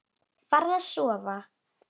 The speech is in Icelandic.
Farðu að sofa.